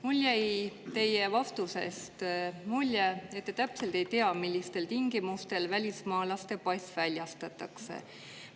Mul jäi teie vastusest mulje, et te täpselt ei tea, millistel tingimustel välismaalase pass väljastatakse.